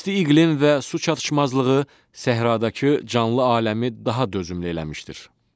İsti iqlim və su çatışmazlığı səhradakı canlı aləmi daha dözümlü eləmişdir.